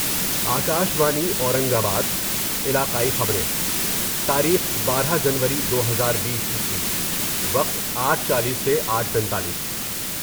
Akashvani Aurangabad علاقائی خبریں تاریخ بارہ جنوری دو ہزار بیس عیسوی وقت آٹھ چالیس سے آٹھ پینتالیس